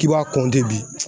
K'i b'a kɔnte bi